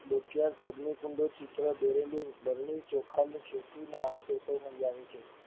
અગ્નિ કુંડ ના ચિત્ર દોરેલી બરણી ચોખા નું ખેતી ના આવશેષો મળી આવે છે.